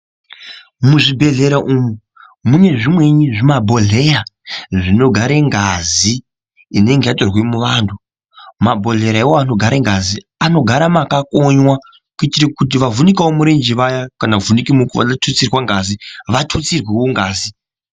Muzvibhedleya umu, mune zvimweni zvimabhodleya zvinogare ngazi inenge yatorwe muvanhu ,mabhodleya iwawo anogare ngazi anogara makakonyiwa kuitira kuti vavhunika murenje vaya kana kuvhunike vanoda kututsirwa ngazi, vatutsirowo ngazi.